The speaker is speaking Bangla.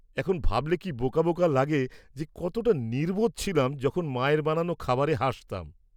-এখন ভাবলে কি বোকা বোকা লাগে যে কতটা নির্বোধ ছিলাম যখন মায়ের বানানো খাবারে হাসতাম।